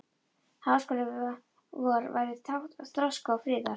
Háskóli vor væri tákn þroska og friðar.